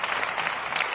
Vielen Dank,